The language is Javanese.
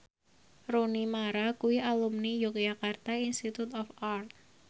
Rooney Mara kuwi alumni Yogyakarta Institute of Art